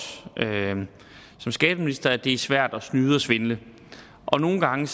som skatteminister ønsker at det er svært at snyde og svindle og nogle gange